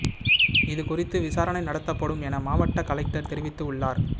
இது குறித்து விசாரணை நடத்தப்படும் என மாவட்ட கலெக்டர் தெரிவித்து உள்ளார்